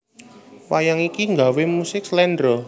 Wayang iki gawé musik Slendro